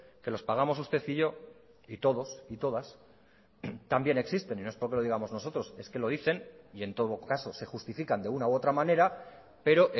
que los pagamos usted y yo y todos y todas también existen y no es porque lo digamos nosotros es que lo dicen y en todo caso se justifican de una u otra manera pero